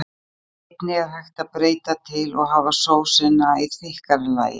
Einnig er hægt að breyta til og hafa sósuna í þykkara lagi.